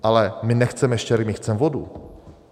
Ale my nechceme štěrk, my chceme vodu.